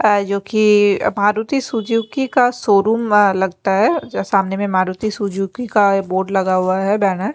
अ जोकि मारुती सुजुकी का शोरूम अ लगता है सामने मारुती सुजुकी का बोर्ड लगा हुआ है बैनर।